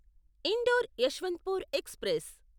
indoor Yesvantpur express